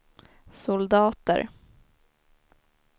soldater